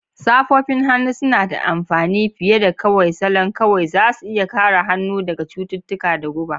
Safofin hannu suna da amfani fiye da kawai salon kawai; za su iya kare hannu daga cututtuka da guba.